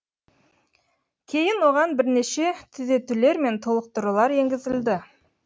кейін оған бірнеше түзетулер мен толықтырулар енгізілді